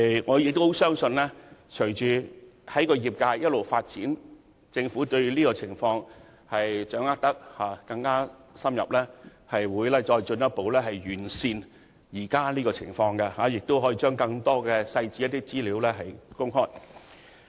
我相信隨着業界不斷發展，以及政府對有關情況有更深入的掌握時，當局會進一步完善現時情況，將更多細節和資料公開。